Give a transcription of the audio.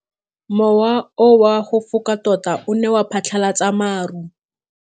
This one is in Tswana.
Mowa o wa go foka tota o ne wa phatlalatsa maru.